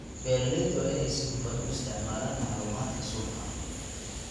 Beeralayda waa inay si hufan u isticmaalaan macluumaadka suuqa.